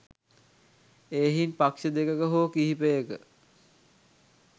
එහෙයින් පක්ෂ දෙකක හෝ කිහිපයක